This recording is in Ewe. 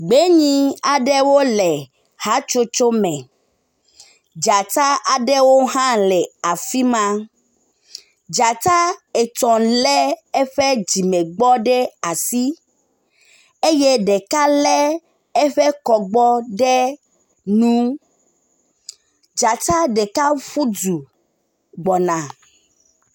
Gbenyi aɖewo le hatsotso me. Dzata ɖewo hã le afi ma. Dzata etɔ̃ lé eƒe dzimegbɔ ɖe asi eye ɖeka lé eƒe kɔgbɔ ɖe nu. Dzata ɖeka fu du gbɔna.